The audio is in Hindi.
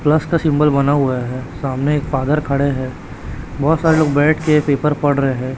प्लस का सिंबल बना हुआ है सामने एक फादर खड़े हैं बहोत सारे लोग बैठ के पेपर पढ़ रहे हैं।